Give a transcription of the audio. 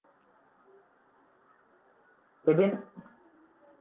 Ebin